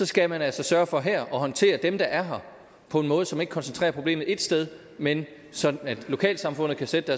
skal man altså sørge for her at håndtere dem der er her på en måde så man ikke koncentrerer problemet ét sted men sådan at lokalsamfundet kan sætte